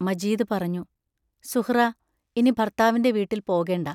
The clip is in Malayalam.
മജീദ് പറഞ്ഞു: സുഹ്റാ ഇനി ഭർത്താവിന്റെ വീട്ടിൽ പോകേണ്ട